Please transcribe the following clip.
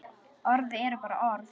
Orð eru bara orð.